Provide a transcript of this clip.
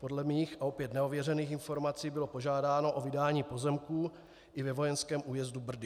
Podle mých - a opět nevěřených - informací bylo požádáno o vydání pozemků i ve vojenském újezdu Brdy.